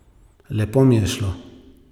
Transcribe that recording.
Lepo mi je šlo.